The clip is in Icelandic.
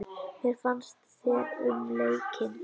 Hvað fannst þér um leikinn?